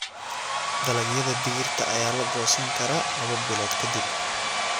Dalagyada digirta ayaa la goosan karaa laba bilood ka dib.